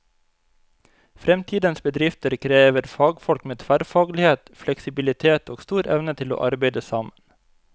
Fremtidens bedrifter krever fagfolk med tverrfaglighet, fleksibilitet og stor evne til å arbeide sammen.